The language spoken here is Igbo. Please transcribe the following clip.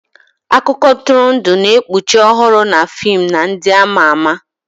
Akụkọ ntụrụndụ na-ekpuchi ọhụrụ na fim na ndị ama ama.